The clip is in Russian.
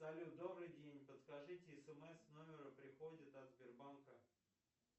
салют добрый день подскажите смс номер приходит от сбербанка